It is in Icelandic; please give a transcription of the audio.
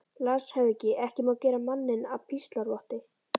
LANDSHÖFÐINGI: Ekki má gera manninn að píslarvotti.